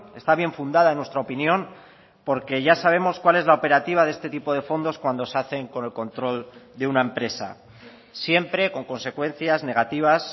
está bien fundada en nuestra opinión porque ya sabemos cuál es la operativa de este tipo de fondos cuando se hacen con el control de una empresa siempre con consecuencias negativas